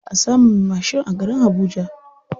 Baʼa samun me mashin a garin habuja.